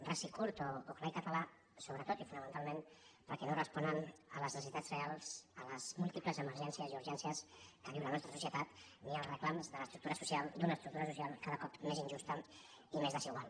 ras i curt o clar i català sobre·tot i fonamentalment perquè no responen ni a les ne·cessitats reals a les múltiples emergències i urgències que viu la nostra societat ni als reclams de l’estructu·ra social d’una estructura social cada cop més injusta i més desigual